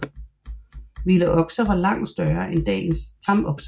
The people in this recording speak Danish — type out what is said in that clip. Vilde okser var langt større end dagens tamokser